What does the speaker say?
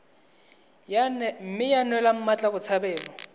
mme ya neelwa mmatla botshabelo